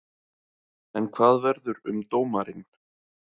En hvað verður um dómarinn?